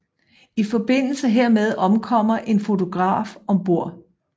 I forbindelse hermed omkommer en fotograf om bord